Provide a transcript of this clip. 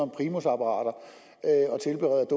primusapparater